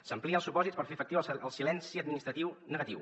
s’amplien els supòsits per fer efectiu el silenci administratiu negatiu